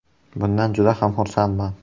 Bundan juda ham xursandman.